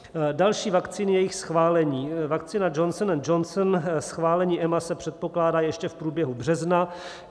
Další vakcíny a jejich schválení: vakcína Johnson & Johnson, schválení EMA se předpokládá ještě v průběhu března.